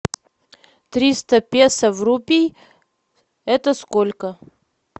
триста песо в рупий это сколько